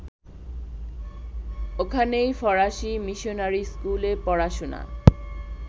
ওখানেই ফরাসী মিশনারি স্কুলে পড়াশোনা